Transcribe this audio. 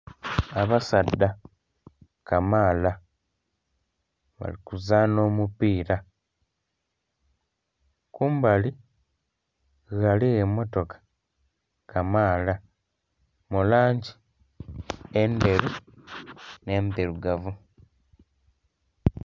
Abasaadha kamaala bali kuzanha omupira kumbali ghaligho emmotoka kamaala mu langi endheru n'endhirugavu.